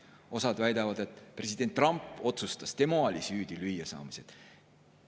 Osa väidab, et president Trump otsustas ja tema oli lüüasaamises süüdi.